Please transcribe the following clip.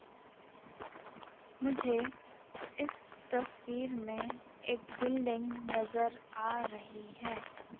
मुझे इस तस्वीर में एक बिल्डिंग नजर आ रही है।